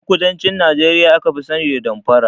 Ƴan kudancin Nijeriya aka fi sani da damfara